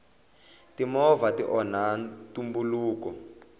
timovha ti onha ntumbuluko